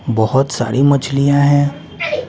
बहुत सारी मछलियां हैं ।